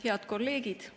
Head kolleegid!